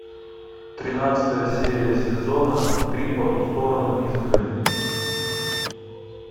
тринадцатая серия сезона три по ту сторону изгороди